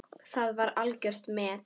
Það var algjört met.